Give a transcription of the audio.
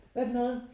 Hvad for noget?